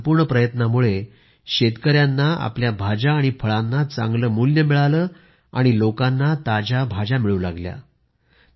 या संपूर्ण प्रयत्नामुळे शेतकऱ्यांना आपल्या भाज्या आणि फळांचा चांगले मूल्य मिळाले आणि लोकांना ताज्या भाज्या मिळाल्या